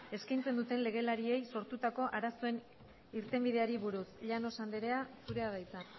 eskaintzen duten legelariei sortutako arazoen irtenbideari buruz llanos andrea zurea da hitza